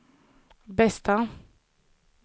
bästa